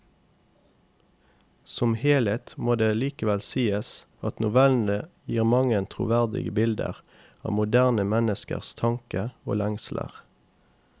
Som helhet må det likevel sies at novellene gir mange troverdige bilder av moderne menneskers tanker og lengsler.